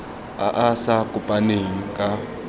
a a sa kopaneng ka